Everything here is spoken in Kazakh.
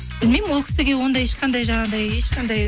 білмеймін ол кісіге ондай ешқандай жаңағыдай ешқандай